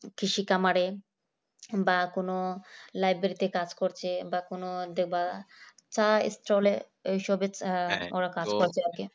কৃষি খামারে বা কোন library কাজ করছে বা কোন দেখবা চা stall এই সবে ওরা কাজ করছে আর কি